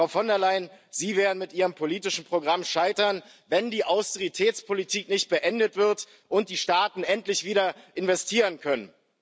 Frau von der Leyen, Sie werden mit Ihrem politischen Programm scheitern, wenn die Austeritätspolitik nicht beendet wird und die Staaten nicht endlich wieder investieren können.